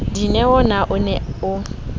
dineo na o ne o